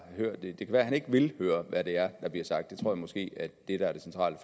hørt det det kan være at han ikke vil høre hvad det er der bliver sagt det tror jeg måske er det der er det centrale